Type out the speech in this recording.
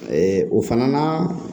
o fana na